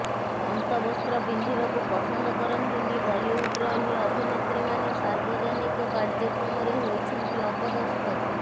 ଅନ୍ତବସ୍ତ୍ର ପିନ୍ଧିବାକୁ ପସନ୍ଦ କରନ୍ତିନି ବଲିଉଡର ଏହି ଅଭିନେତ୍ରୀମାନେ ସାର୍ବଜନିକ କାର୍ଯ୍ୟକ୍ରମରେ ହୋଇଛନ୍ତି ଅପଦସ୍ଥ